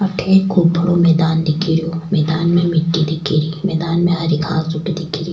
अठे एक खूब बड़ो मैदान दिखे रो मैदान में मिट्टी दिखे री मैदान में हरी घास उगी दिखे री।